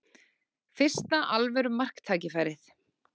Fyrsta alvöru marktækifærið